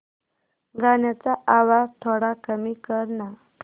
गाण्याचा आवाज थोडा कमी कर ना